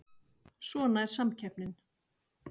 Svona er samkeppnin